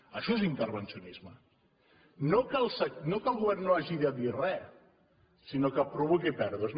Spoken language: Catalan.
això és intervencionisme no que el govern no hagi de dir res sinó que provoqui pèrdues